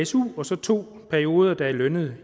su og så to perioder der er lønnede